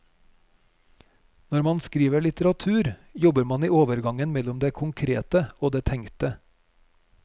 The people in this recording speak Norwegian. Når man skriver litteratur, jobber man i overgangen mellom det konkrete og det tenkte.